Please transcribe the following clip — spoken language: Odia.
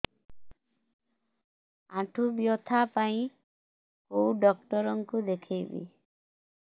ଆଣ୍ଠୁ ବ୍ୟଥା ପାଇଁ କୋଉ ଡକ୍ଟର ଙ୍କୁ ଦେଖେଇବି